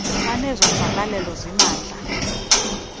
banezo mvakalelo zimandla